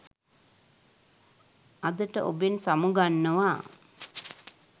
අදට ඔබෙන් සමුගන්නවා.